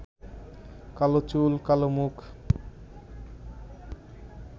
কালো চুল, কালো মুখ